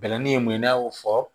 Bɛlɛnin ye mun ye n'a y'o fɔ